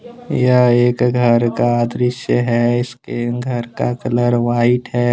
यह एक घर का दृश्य है इसके घर का कलर व्हाइट है।